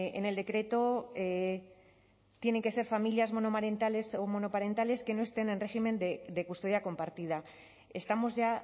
en el decreto tienen que ser familias monomarentales o monoparentales que no estén en régimen de custodia compartida estamos ya